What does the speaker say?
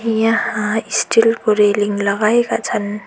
यहाँ स्टिल को रेलिङ लगाएका छन्।